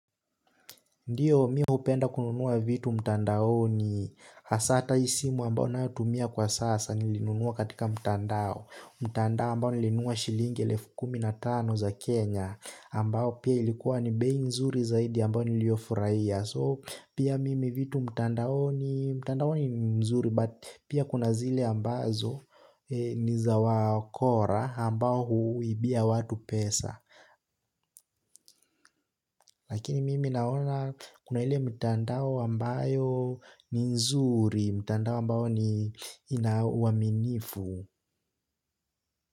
Ndiyo mimi hupenda kununua vitu mtandaoni hasa hata hii simu ambayo ninayotumia kwa sasa nilinunua katika mtandao mtandao ambao nilinunua shilingi elfu kumi na tano za Kenya ambao pia ilikuwa ni bei nzuri zaidi ambayo niliyofurahia so pia mimi vitu mtandaoni mtandaoni ni mzuri but pia kuna zile ambazo ni za wakora ambao huibia watu pesa. Lakini mimi naona kuna ile mitandao ambayo ni nzuri, mtandao ambao ni ina uaminifu.